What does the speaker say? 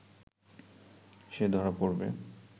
সে ধরা পড়বে